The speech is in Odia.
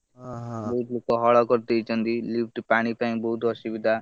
ବହୁତ୍ ଲୋକ ହଳ କରିଦେଇଛନ୍ତି lift ପାଣି ପାଇଁ ବହୁତ୍ ଅସୁବିଧା।